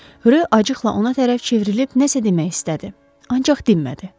Rö acıqla ona tərəf çevrilib nəsə demək istədi, ancaq dinmədi.